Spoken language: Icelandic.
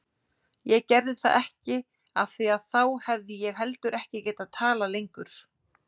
Ég gerði það ekki afþvíað þá hefði ég heldur ekki getað talað lengur.